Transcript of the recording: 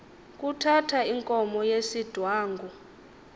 kuthatha inkomo yesidwangu